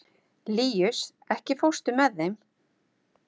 Líus, ekki fórstu með þeim?